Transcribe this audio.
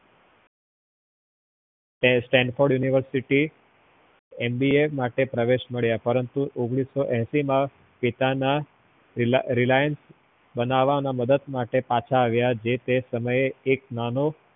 એ Stanford university MBA માટે પ્રવેશ મળ્યા પરંતુ ઓગ્નીસ્સો અસી માં પિતાના Reliance બનાવવાના માં મદદ માટે પાછા આવ્યા, જે તે સમયે એક નાનો